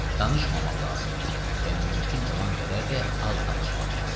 danışmamaq lazımdır və mümkün olan qədər də az danışmaq lazımdır.